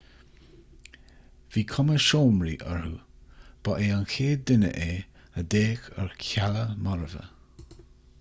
bhí cuma seomraí orthu ba é an chéad duine é a d'fhéach ar chealla marbha